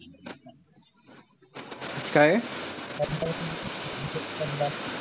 काये?